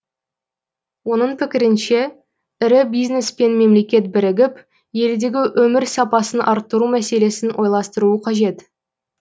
оның пікірінше ірі бизнес пен мемлекет бірігіп елдегі өмір сапасын арттыру мәселесін ойластыруы қажет